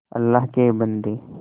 अल्लाह के बन्दे